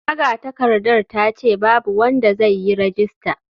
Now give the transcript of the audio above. Magatakardar ta ce babu wanda zai yi rajista.